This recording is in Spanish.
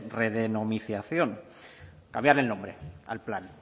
redenominación cambiar el nombre al plan